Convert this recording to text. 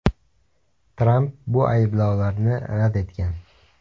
Tramp bu ayblovlarni rad etgan.